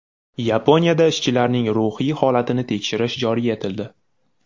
Yaponiyada ishchilarning ruhiy holatini tekshirish joriy etildi.